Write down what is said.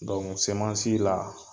Dɔnku semansi la